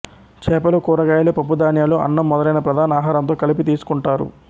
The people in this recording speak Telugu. చేపలు కూరగాయలు పప్పుధాన్యాలు అన్నం మొదలైన ప్రధాన ఆహారంతో కలిపి తీస్సుకుంటారు